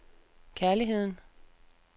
kærligheden